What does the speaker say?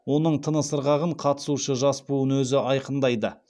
оның тыныс ырғағын қатысушы жас буын өзі айқындайды